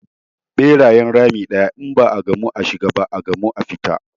Ɓerayen rami ɗaya, in ba a gamu a shiga ba, a gamu a fita.